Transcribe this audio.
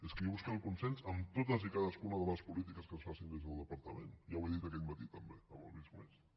és que jo buscaré el consens en totes i en cadascuna de les polítiques que es facin des del departament ja ho he dit aquest matí també amb el visc+